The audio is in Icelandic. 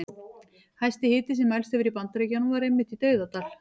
Hæsti hiti sem mælst hefur í Bandaríkjunum var einmitt í Dauðadal.